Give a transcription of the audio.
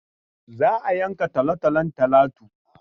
Za a yanka talotalon Talatu.